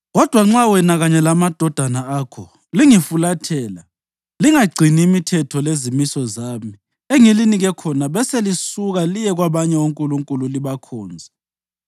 Kodwa nxa wena kanye lamadodana akho lingifulathela lingagcini imithetho lezimiso zami engilinike khona beselisuka liye kwabanye onkulunkulu libakhonze,